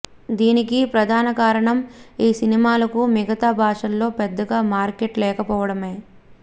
దీనికి ప్రధాన కారణం ఈ సినిమాలకు మిగతా భాషల్లో పెద్దగా మార్కెట్ లేకపోవడమే